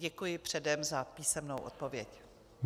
Děkuji předem za písemnou odpověď.